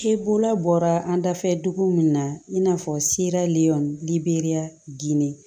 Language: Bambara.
E bolo bɔra an dafɛ dugu min na i n'a fɔ sira liyɔn liberiya ginde